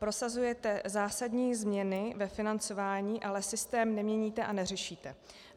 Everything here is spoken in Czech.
Prosazujete zásadní změny ve financování, ale systém neměníte a neřešíte.